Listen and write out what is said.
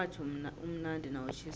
umratha umnandi nawutjhisako